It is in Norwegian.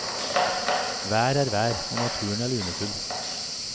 Vær er vær, og naturen lunefull.